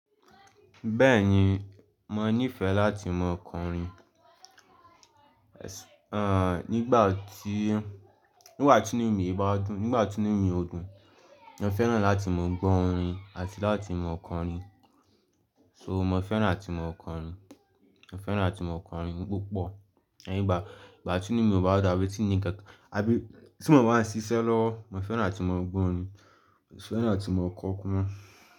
Bẹ́ẹ̀ni, mo níìfẹ̀ láti mọ kọ orin, nígbà tí, nígbà tí inú mi bá dùn, nígbà tí inú mi ò dùn, mo fẹ́ràn láti mọ gbọ́ orin àti láti mọ kọ orin. So mo fẹ́ràn láti mọ kọ orin, mo fẹ́ràn láti mọ kọ orin púpọ̀. Leyin nígbà, nígbà tí inú mi ò bá dun tí ní nkankọ̀ọ́, àbí tí mo bá ń ṣiṣẹ́ lọ́wo, mo fẹ́ràn áti mọ gbọ́ orin, mo fẹ́ràn láti mọ kọ ọkọ.